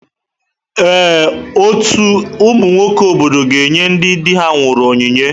Ee, ọtú ụmụ nwoke obodo ga-enye ndị di ha nwụrụ onyinye.